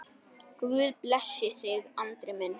Guð blessi þig, Andri minn.